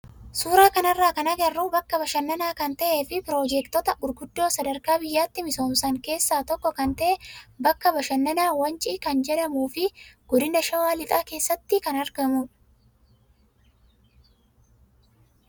Suuraa kanarraa kan agarru bakka bashannanaa kan ta'ee fi piroojeektota gurguddoo sadarkaa biyyaatti misooman keessaa tokko kan ta'e bakka bashannanaa Wancii kan jedhamuu fi godina shawaa lixaa keessatti kan argamudha.